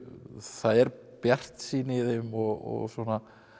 það er bjartsýni í þeim og svona